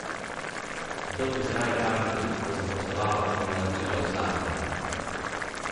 Kdo pri zdravi pameti bo zaposloval, če mu naročila usahnejo?